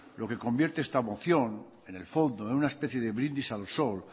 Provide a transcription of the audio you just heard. lo que convierte esta moción en el fondo en una especie de brindis al sol